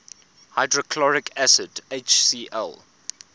hydrochloric acid hcl